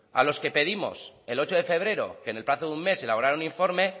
a los que pedimos el ocho de febrero que en el plazo de un mes elaborara un informe